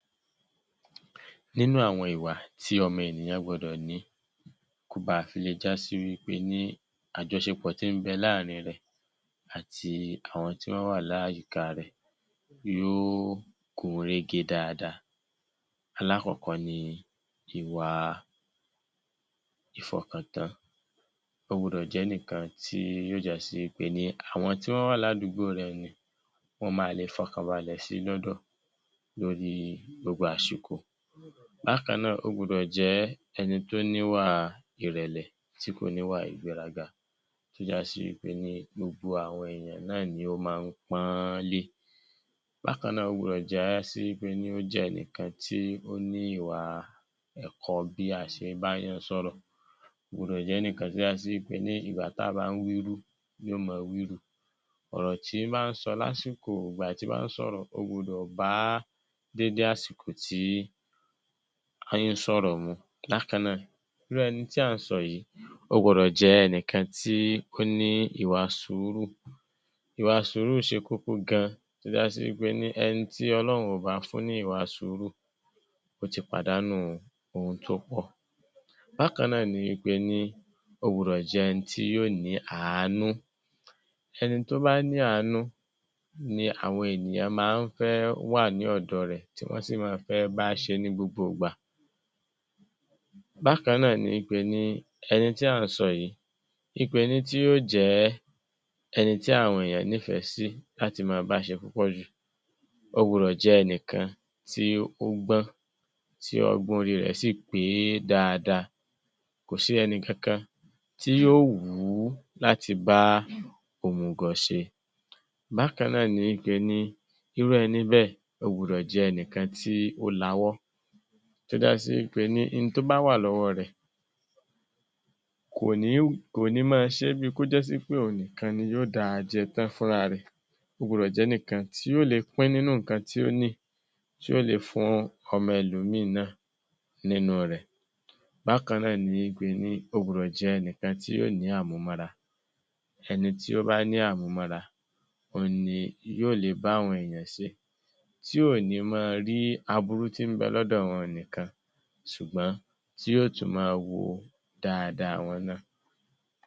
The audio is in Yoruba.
Nínú àwọn ìwà tí ọmọ ènìyàn gbọdọ̀ ní kó baà fi le já sí wí pé ní àjọṣepọ̀ tí ń bẹ láàrin rẹ̀ àti àwọn tí wọ́n wà láyìíká rẹ̀ yóó gún régé dáadáa, alákọ̀ọ́kọ́ ni ìwà ìfọkàntán. Ó gbudọ̀ jẹ́ ẹnìkan tí yó já sí wí pe ní àwọn tí wọ́n wà ládùúgbò rẹ̀, wọ́n maà lè fọkàn balẹ̀ sí i lọ́dọ̀ lórí gbogbo àsìkò. Bákan náà, ó gbudọ̀ jẹ́ ẹni tó níwà ìrẹ̀lẹ̀, tí kò níwà ìgbéraga, tó já sí wí pé ní gbogbo àwọn èèyàn náà ni ó máa ń pọ́nọ́nlé. Bákan náà, ó gbọdọ̀ já sí wí pe ní ó jẹ́ ẹnìkan tí ó ní ìwà ẹ̀kọ́ bí a ṣe báàyàn sọ̀rọ̀. Kò gbọdọ̀ jẹ́ ẹnìkan tó já sí wí pe ní ìgbà táà bá ń wírú, yóò máa wírù. Ọ̀rọ̀ tí bá ń sọ lásìkò ìgbà tí bá ń sọ̀rọ̀, ó gbudọ̀ bá déédé àsìkò tí ń sọ̀rọ̀ mu. Bákan náà, irú ẹni tí à ń sọ yìí, ó gbọdọ̀ jẹ́ ẹnìkan tí ó ní ìwà sùúrù. Ìwà sùúrù ṣe kókó gan, tó já sí wí pe ní ẹni tí Ọ̀lọ́hun ò bá fún ní ìwà sùúrù, ó ti pàdánù ohun tó pọ̀. Bákan náà ni wí pe ní ó gbudọ̀ jẹ́ ẹni tí yó ní àánú. Ẹni tó bá ní àánú ni àwọn ènìyàn máa ń fẹ́ wà ní ọ̀dọ̀ rẹ̀, tí wọ́n sì máa ń fẹ́ bá ṣe ní gbogbo ìgbà. Bákan náà ni wí pe ní ẹni tí à ń sọ yìí, wí pe ní tí yó jẹ ẹni tí àwọn èèyàn nífẹ̀ẹ́ sí làti máa bá ṣe púpọ̀ jù, ó gbudọ̀ jẹ́ ẹnìkan tí ó gbọ́n, tí ọgbọ́n orí rẹ̀ sì pé dáadáa. Kò sí ẹnìkankan tí yó wù ú láti bá òmùgọ̀ ṣe. Bákan náà ni wí pe ní irú ẹni bẹ́ẹ̀, ó gbudọ̀ jẹ́ ẹnìkan tí ó lawọ́, tó já sí wí pe ní in tó bá wà lọ́wọ́ rẹ̀, kò ní, kò ní máa ṣé bíi kó já sí wí pé òun nìkan ni yó dá a jẹ tán fúnra rẹ̀. Ó gbudọ̀ jẹ́ ẹnìkan tí yó le pín nínú nǹkan tí ó ní, tí ó le fún ọmọ ẹlòmíì náà nínú rẹ̀. Bákan náà ni wí pe ní, ó gbudọ̀ jẹ́ ẹnìkan tí yó ní àmúmọ́ra. Ẹni tí ó bá ní àmúmọ́ra, òun ni yó le bá àwọn èèyàn se, tí ò ní máa rí aburú tí ń bẹ lọ́dọ̀ wọn nìkan, sùgbọ́n tí yó tún máa wo dáadáa wọn náà.